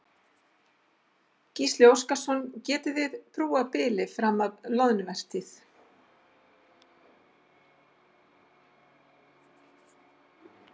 Gísli Óskarsson: Getiði þið brúað bilið fram að loðnuvertíð?